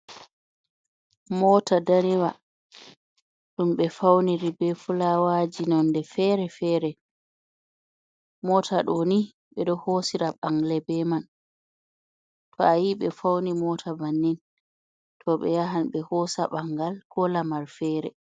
Moota ndaniwa, ɗum ɓe fawniri bee fulaawaji nonnde feere-feere, moota ɗo ni, ɓe ɗo hoosira bangle bee man, to a yi ɓe fawni moota bannin, to, ɓe yahan ɓe hoosa ɓanngal koo lamar feere.